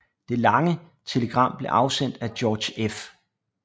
Det lange telegram blev afsendt af George F